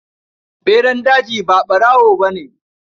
Ɓeran daji ba ɓarawo ne.